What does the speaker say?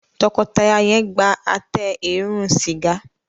tọkọtaya yen gbà Àtẹ eérún sìgá.